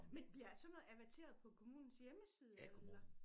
Men bliver sådan noget averteret på kommunens hjemmeside eller?